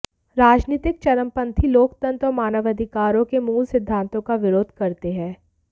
राजनीतिक चरमपंथी लोकतंत्र और मानवाधिकारों के मूल सिद्धांतों का विरोध करते हैं